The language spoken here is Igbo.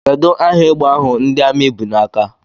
Kedụ aha égbè ahụ ndị Armi bụ n'aka?